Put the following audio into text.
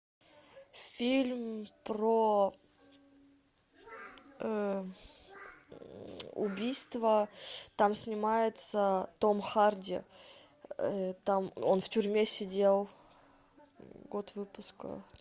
фильм про убийство там снимается том харди там он в тюрьме сидел год выпуска